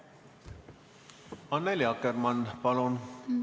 Annely Akkermann, palun!